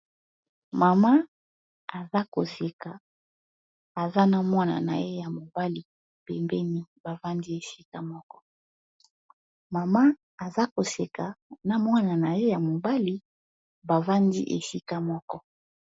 Mama aza koseka mwana na ye ya mobali bavandi esika moko.